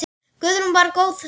Guðrún var góð sál.